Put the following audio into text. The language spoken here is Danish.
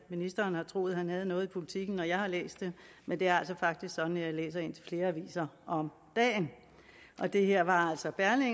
ministeren har troet at han havde noget i politikken når jeg har læst det men det er altså faktisk sådan at jeg læser indtil flere aviser om dagen og det her var altså